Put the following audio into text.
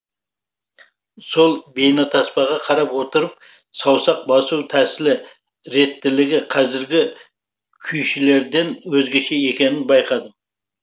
сол бейнетаспаға қарап отырып саусақ басу тәсілі реттілігі қазіргі күйшілерден өзгеше екенін байқадым